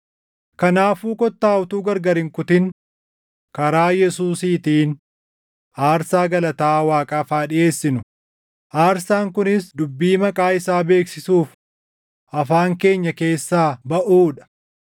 Kanaafuu kottaa utuu gargar hin kutin karaa Yesuusiitiin aarsaa galataa Waaqaaf haa dhiʼeessinu; aarsaan kunis dubbii maqaa isaa beeksisuuf afaan keenya keessaa baʼuu dha.